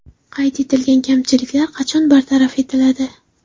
Qayd etilgan kamchiliklar qachon bartaraf etiladi?